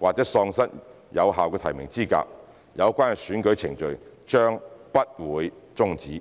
或喪失有效的提名資格，有關的選舉程序將不會終止。